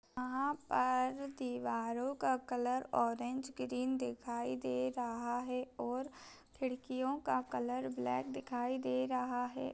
यहाँ पर दीवारों का कलर ऑरेंज ग्रीन दिखाई दे रहा है और खिड़कियों का कलर ब्लैक दिखाई दे रहा है।